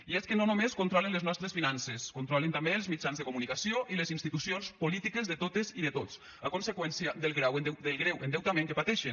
i és que no només controlen les nostres finances controlen també els mitjans de comunicació i les institucions polítiques de totes i de tots a conseqüència del greu endeutament que pateixen